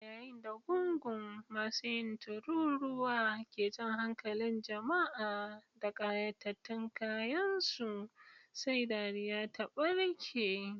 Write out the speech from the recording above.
A yayin da gungun masu yin tururuwa ke jan hankalin jama'a da kayatattun kayansu, sai dariya ta barke.